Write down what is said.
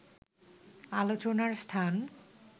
আলোচনার স্থান